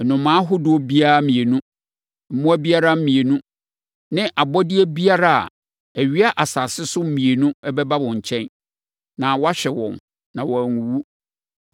Nnomaa ahodoɔ biara mmienu, mmoa biara mmienu, ne abɔdeɛ biara a ɛwea asase so mmienu bɛba wo nkyɛn, na woahwɛ wɔn, na wɔanwuwu.